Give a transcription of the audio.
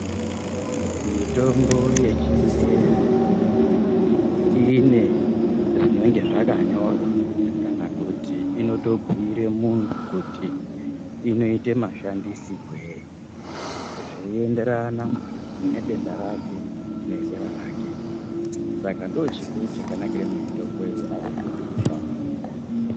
Mitombo yechingezi inenge ine zvakanyorwa kana kuti inotobhuira munhu kuti inoite mashandisirwei zveienderana nedenda rake nezera rake. Saka ndoochokuru chakanakire mitombo iyi